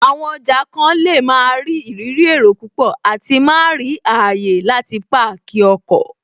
Àwọn ọjà kan lè máa rí ìrírí èrò púpọ̀ àti má rí ààyè láti páàkì ọkọ̀